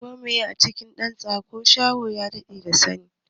Ko meye a cikin dan tsako, shaho ya dade da saninsa.